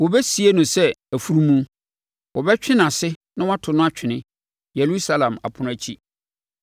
Wɔbɛsie no sɛ afunumu. Wɔbɛtwe nʼase na wɔato no atwene Yerusalem apono akyi.”